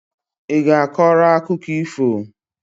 I ga-akọrọ akụkọ ifo?